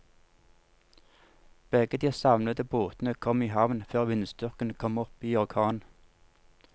Begge de savnede båtene kom i havn før vindstyrken kom opp i orkan.